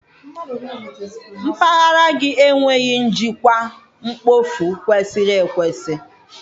Mpaghara gị enweghị njikwa mkpofu kwesịrị ekwesị.